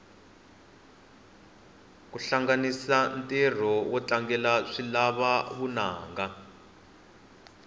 kuhlanganisa ntiro notlangela swilava vunanga